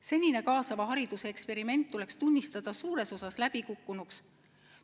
Senine kaasava hariduse eksperiment tuleks tunnistada suures osas läbikukkunuks.